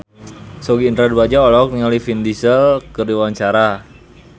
Sogi Indra Duaja olohok ningali Vin Diesel keur diwawancara